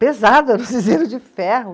Pesado, era um cinzeiro de ferro.